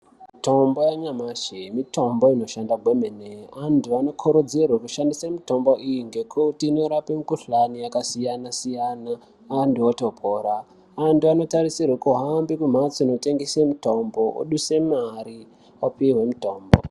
Mitombo yanyamashi mitombo inoshanda kwemene antu anokurudzirwe kushandise mitombo iyi ngekuti inorape mikuhlani yakasiyana siyana antu otopora antu anotarisirwe kuhambe kumhatso inotengese mutombo odhuse mari opuhwe mutombo.